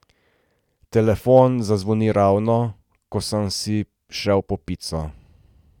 Telefon zazvoni ravno, ko sem si šel po pico.